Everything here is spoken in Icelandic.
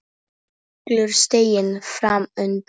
Allur stiginn fram undan.